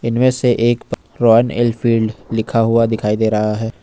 इनमें से एक रॉयल एनफील्ड लिखा हुआ दिखाई दे रहा है।